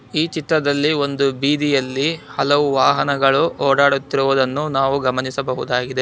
ಈ ಚಿತ್ರದಲ್ಲಿ ಒಂದು ಬೀದಿಯಲ್ಲಿ ಹಲವು ವಾಹನಗಳು ಓಡಾಡುತ್ತಿರುವುದನ್ನು ನಾವು ಗಮನಿಸಬಹುದಾಗಿದೆ.